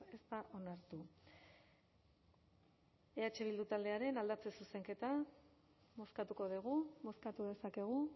ez da onartu eh bildu taldearen aldatze zuzenketa bozkatuko dugu bozkatu dezakegu